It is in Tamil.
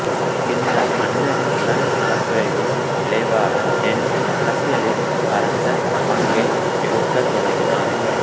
பின்னர் மன்னரின் உடல்நலக்குறைவின் விளைவாக ஹென்றி அரசியலில் பரந்த பங்கை எடுக்கத் தொடங்கினார்